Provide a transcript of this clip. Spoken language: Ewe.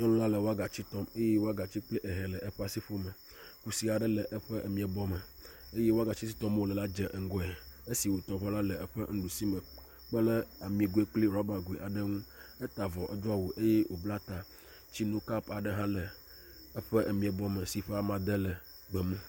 Nyɔnu la wɔgatsi tɔm eye wɔgatsi kple ehɛ le eƒe asiƒome. Kusi aɖe le eƒe emiabɔ me eye wagatsi si tɔmee wo le la dze ŋgɔe esi wotɔ vɔ la le eƒe nuɖusi me kpe ɖe amigoe kple ɖɔbagoe aɖe ŋu. Eta avɔ edo awu eye wobla ta. Tsinokapu aɖe hã le eƒe miabɔ me si ƒe amade le gbemu.